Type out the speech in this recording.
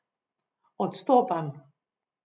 Odstopam!